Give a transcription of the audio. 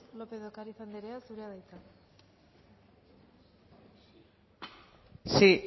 lópez de ocariz andrea zurea da hitza sí